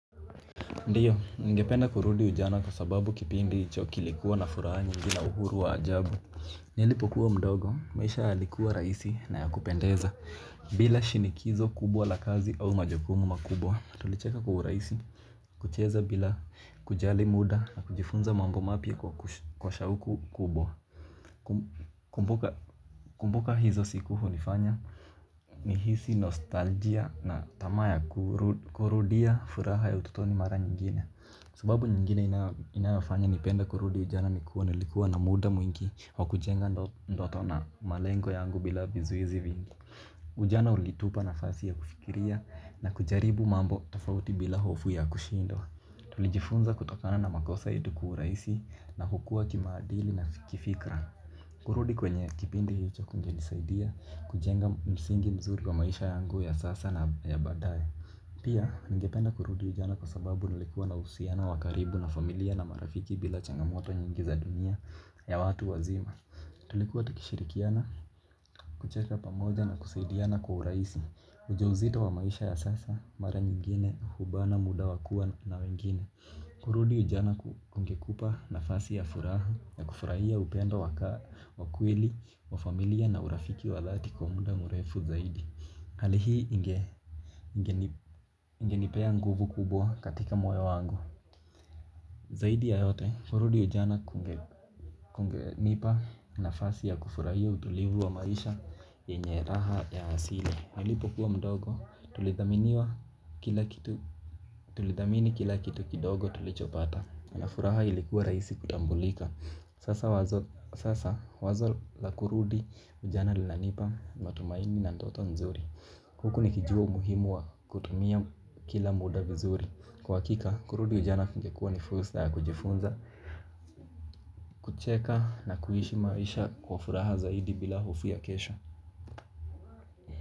Ndio, nigependa kurudi ujana kwa sababu kipindi hicho kilikuwa na furaha nyingi na uhuru wa ajabu. Nilipokuwa mdogo, maisha yalikuwa rahisi na yakupendeza. Bila shinikizo kubwa la kazi au majukumu makubwa. Tulicheka kwa uraisi, kucheza bila kujali muda, na kujifunza mambo mapya kwa shauku kubwa. Kumbuka hizo siku hunifanya, nihisi nostalgia na tama kurudia furaha ya ututoni mara nyigine. Sababu nyingine inayofanya nipenda kurudi ujana nikuwa, nilikuwa na muda mwingi wa kujenga ndoto na malengo yangu bila vizuizi vingi. Ujana ulitupa nafasi ya kufikiria, na kujaribu mambo tofauti bila hofu ya kushindwa. Tulijifunza kutokana na makosa yetu kiuraisi na kukuwa kimaadili na kifikra. Kurudi kwenye kipindi hicho kungenisaidia, kujenga msingi mzuri wa maisha yangu ya sasa na ya baadaye. Pia, nigependa kurudi ujana kwa sababu, nilikuwa na uhusiano wakaribu na familia na marafiki bila changamoto nyingi za dunia, ya watu wazima. Tulikuwa tukishirikiana, kucheka pamoja na kusaidiana kwa uraisi. Ujauzito wa maisha ya sasa, mara nyingine, hubana muda wakua na wengine. Kurudi ujana kukungekupa nafasi ya furaha na kufurahia upendo wakweli, wa familia na urafiki wadhati kwa muda mrefu zaidi. Hali hii ingenipea nguvu kubwa katika moyo wangu. Zaidi ya yote, kurudi ujana kunge nipa nafasi ya kufurahia utulivu wa maisha, yenye raha ya hasile. Alipo kuwa mdogo tulidhamini kila kitu kidogo tulichopata. Na furaha ilikuwa rahisi kutambulika. Sasa wazo la kurudi ujana linanipa matumaini na ndoto nzuri. Huku nikijuwa umuhimu wa kutumia kila muda vizuri. Kwa hakika, kurudi ujana kungekuwa ni fursa ya kujifunza, kucheka na kuishi maisha kwa furaha zaidi bila hofu ya kesho.